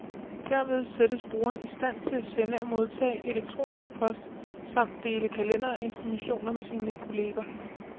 Derved sættes brugeren i stand til at sende og modtage elektronisk post samt dele kalender og informationer med sine kolleger.